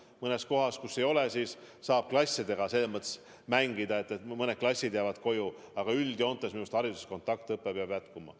Mõnes kohas, kus ei ole, saab klassidega selles mõttes mängida, et mõned klassid jäävad koju, aga üldjoontes minu meelest hariduses kontaktõpe peab jätkuma.